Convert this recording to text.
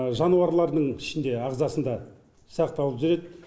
жануарлардың ішінде ағзасында сақталып жүреді